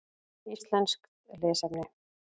Íslenskt lesefni: